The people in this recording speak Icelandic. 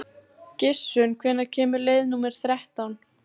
Gissunn, hvenær kemur leið númer þrettán?